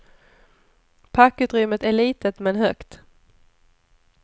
Packutrymmet är litet, men högt.